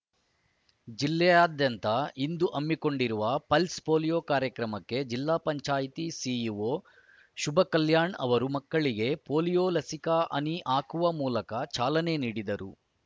ಜಿಲ್ಲೆಯಾದ್ಯಂದ ಇಂದು ಹಮ್ಮಿಕೊಂಡಿರುವ pulse polio ಕಾರ್ಯಕ್ರಮಕ್ಕೆ ಜಿಲ್ಲಾ ಪಂಚಾಯತಿ ಸಿಇಓ ಶುಭಕಲ್ಯಾಣ್ ಅವರು ಮಕ್ಕಳಿಗೆ ಪೋಲಿಯೋ ಲಸಿಕಾ ಹನಿ ಹಾಕುವ ಮೂಲಕ ಚಾಲನೆ ನೀಡಿದರು